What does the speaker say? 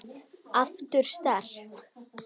Aftur sterk.